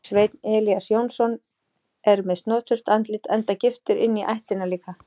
Sveinn Elías Jónsson er með snoturt andlit enda giftur inní ættina líka.